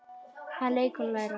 Það er leikur að læra